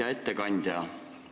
Hea ettekandja!